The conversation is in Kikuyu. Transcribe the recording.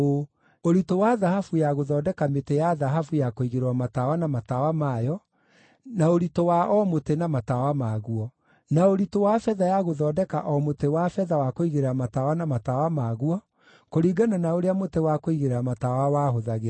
ũritũ wa thahabu ya gũthondeka mĩtĩ ya thahabu ya kũigĩrĩrwo matawa na matawa mayo, na ũritũ wa o mũtĩ na matawa maguo; na ũritũ wa betha ya gũthondeka o mũtĩ wa betha wa kũigĩrĩra tawa na matawa maguo, kũringana na ũrĩa mũtĩ wa kũigĩrĩra matawa wahũthagĩrwo: